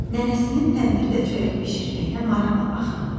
Nənəsinin təndirdə çörək bişirməyinə maraqla baxırdı.